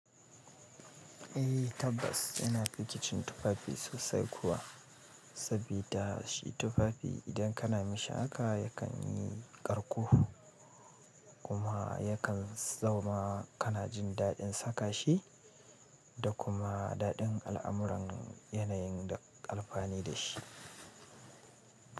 Eh tabbas ina fikicin tufafi sosai kuwa, sabida shi tufafi idan kana mishi haka yakan yi ƙarko kuma yakan zauna kana jin daɗin saka shi da kuma daɗin al'amuran yanayin da ƙalfa ne da shi.